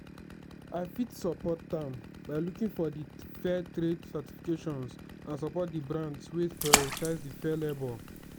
i fit support am by looking for di fair trade certifications and support di brands wey prioritize di fair labor.